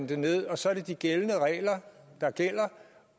det ned og så er det de gældende regler der gælder